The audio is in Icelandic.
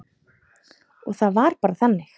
Og það var bara þannig.